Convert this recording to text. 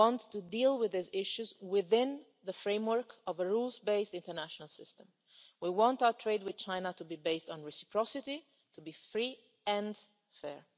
We want to deal with these issues within the framework of a rules based international system. We want our trade with China to be based on reciprocity and to be free and